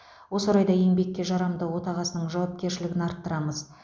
осы орайда еңбекке жарамды отағасының жауапкершілігін арттырамыз